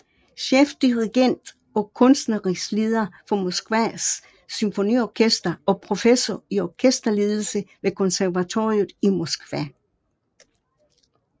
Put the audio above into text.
Chefdirigent og kunstnerisk leder for Moskvas Symfoniorkester og professor i orkesterledelse ved konservatoriet i Moskva